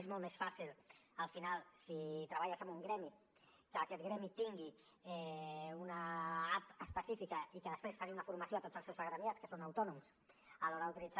és molt més fàcil al final si treballes amb un gremi que aquest gremi tingui una app específica i que després faci una formació a tots els seus agremiats que són autònoms a l’hora d’utilitzar